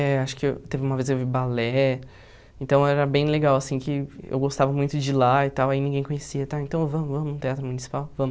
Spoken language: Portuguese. É, acho que teve uma vez eu vi balé, então era bem legal, assim, que eu gostava muito de ir lá e tal, aí ninguém conhecia e tal, então vamos, vamos ao Teatro Municipal, vamos.